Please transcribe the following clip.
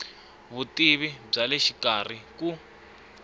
vutivi bya le xikarhi ku